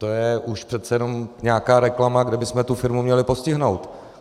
To je už přece jenom nějaká reklama, kde bychom tu firmu měli postihnout.